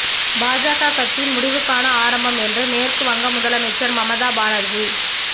பாஜக கட்சியின் முடிவுக்கான ஆரம்பம் என்று மேற்கு வங்க முதலமைச்சர் மமதா பானர்ஜி